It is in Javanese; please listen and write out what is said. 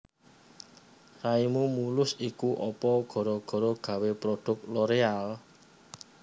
Raimu mulus iku opo gara gara gawe produk Loreal